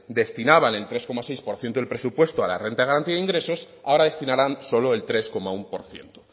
destinaban el tres coma seis por ciento del presupuesto a la renta de garantía de ingresos ahora destinarán solo el tres coma uno por ciento